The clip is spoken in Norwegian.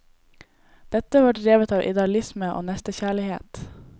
Dette var drevet av idealisme og nestekjærlighet.